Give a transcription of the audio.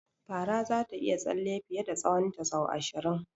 Fara zata iya tsalle fiye da tsahonta sau ashirin.